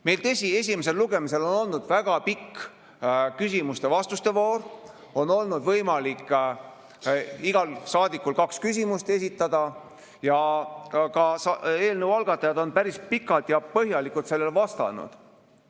Meil, tõsi, esimesel lugemisel on olnud väga pikk küsimuste-vastuste voor, on olnud võimalik igal saadikul kaks küsimust esitada ja eelnõu algatajad on päris pikalt ja põhjalikult sellele vastanud.